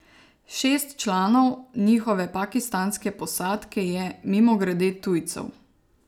Šest članov njihove pakistanske posadke je, mimogrede, tujcev.